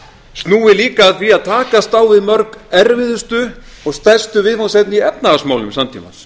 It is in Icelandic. snúi líka að því að takast á við mörg erfiðustu og stærstu viðfangsefni í efnahagsmálum samtímans